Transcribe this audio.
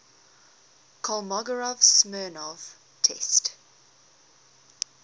kolmogorov smirnov test